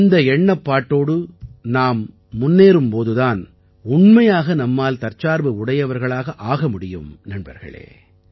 இந்த எண்ணப்பாட்டோடு நாம் முன்னேறும் போது தான் உண்மையாக நம்மால் தற்சார்பு உடையவர்களாக ஆக முடியும் நண்பர்களே